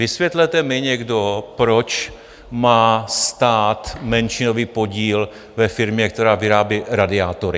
Vysvětlete mi někdo, proč má stát menšinový podíl ve firmě, která vyrábí radiátory.